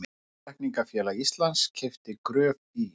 Náttúrulækningafélag Íslands keypti Gröf í